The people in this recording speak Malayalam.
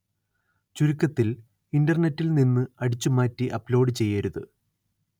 ചുരുക്കത്തില്‍ ഇന്റര്‍നെറ്റില്‍ നിന്ന് അടിച്ചു മാറ്റി അപ്‌ലോഡ് ചെയ്യരുത്